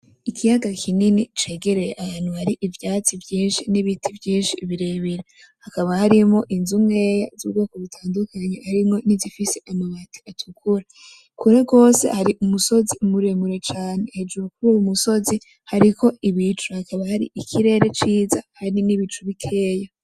Ikiyaga kinini cegereye ahantu hari ivyatsi vyinshi n'ibiti vyinshi birebire, hakaba harimwo inzu nkeya z'ubwoko butandukanye harimwo n'izifise amabati atukura, kure rwose hari umusozi muremure cane hejuru kuruyo musozi hariko ibicu, hakaba hari ikirere ciza hari n'ibicu bikeya.